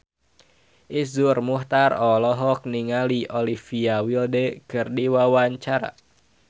Iszur Muchtar olohok ningali Olivia Wilde keur diwawancara